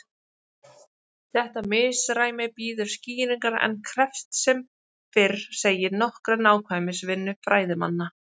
Þetta misræmi bíður skýringar en krefst sem fyrr segir nokkurrar nákvæmnisvinnu fræðimanna.